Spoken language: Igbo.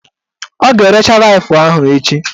Ọ ga-erecha Laif ahụ echi